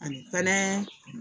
Ani fana